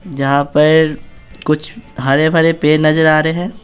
जहाँ पर कुछ हरे भरे पेर नजर आ रहे हैं।